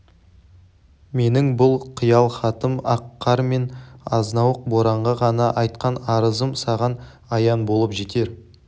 менің бұл қиял-хатын ақ қар мен азнауық боранға ғана айтқан арызым саған аян болып жетер